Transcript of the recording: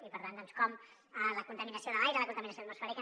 i per tant doncs com la contaminació de l’aire la contaminació atmosfèrica